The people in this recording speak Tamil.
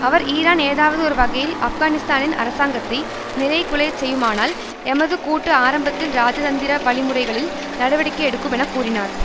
அவர் ஈரான் ஏதாவது ஒரு வகையில் ஆப்கானிஸ்தானின் அரசாங்கத்தை நிலைகுலைய செய்யுமானால் எமது கூட்டு ஆரம்பத்தில் இராஜதந்திர வழிமுறைகளில் நடவடிக்கை எடுக்கும் என கூறினார்